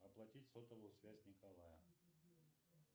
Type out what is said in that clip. оплатить сотовую связь николая